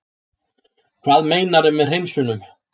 Hvað meinarðu með hreinsunum?